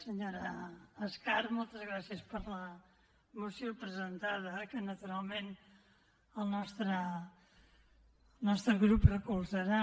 senyora escarp moltes gràcies per la moció presentada que naturalment el nostre grup recolzarà